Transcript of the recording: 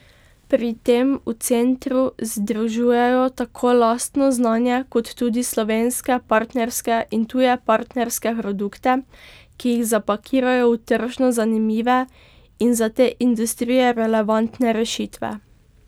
Pri tem v centru združujejo tako lastno znanje kot tudi slovenske partnerske in tuje partnerske produkte, ki jih zapakirajo v tržno zanimive in za te industrije relevantne rešitve.